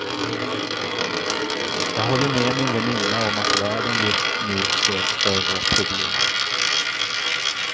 Jag håller med min väninna om att världen just nu ser större problem.